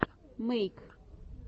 мэйк